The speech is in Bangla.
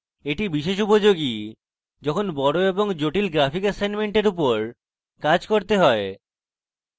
এটি বিশেষ উপযোগী যখন আমাদের বড় এবং জটিল graphic এসাইনমেন্টের উপর কাজ করতে হয়